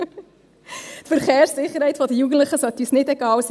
Die Verkehrssicherheit der Jugendlichen sollte uns nicht egal sein.